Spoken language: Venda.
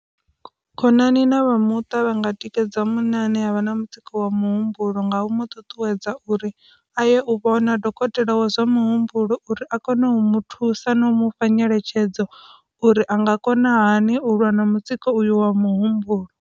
Khonani na vhamuṱa vha nga tikedza munna ane havha na mutsiko wa muhumbulo nga u mu ṱuṱuwedza uri a ye u vhona dokotela wa zwa muhumbulo uri a kone u mu thusa na u mufha nyeletshedzo uri anga kona hani u lwa na mutsiko wa muhumbulo.